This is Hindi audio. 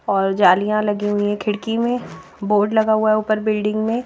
और जालियां लगी हुई हैं खिड़की में बोर्ड लगा हुआ है ऊपर बिल्डिंग में।